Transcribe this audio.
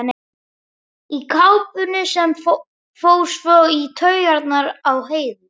Í kápunni sem fór svo í taugarnar á Heiðu.